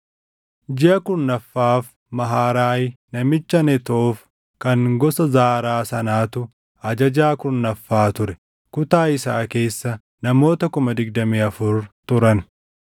Jiʼa kurnaffaaf Maharaayi namicha Netoof kan gosa Zaaraa sanatu ajajaa kurnaffaa ture. Kutaa isaa keessa namoota 24,000 turan.